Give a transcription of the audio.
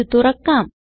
ഇത് തുറക്കാം